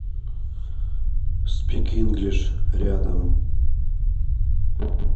спик инглиш рядом